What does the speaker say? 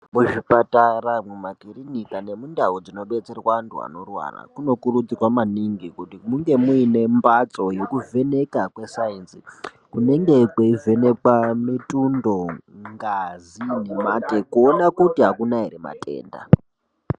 Muzvipatara, mumakirinika nemundau dzinodetserwa anthu anorwara munokurudzirwa maningi kuti munge muine mphatso yekuvheneka kwesainzi kunenge kweivhenekwa mitundo, ngazi nemate kuonekwa kuti akuna ere matenda.